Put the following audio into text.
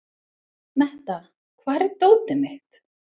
Metta, hvar er dótið mitt?